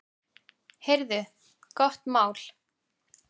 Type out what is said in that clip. Heyrðu, gott mál.